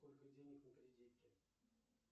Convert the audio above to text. сколько денег на кредитке